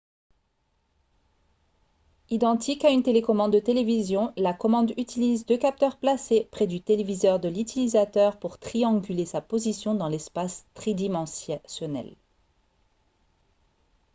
identique à une télécommande de télévision la commande utilise deux capteurs placés près du téléviseur de l'utilisateur pour trianguler sa position dans l'espace tridimensionnel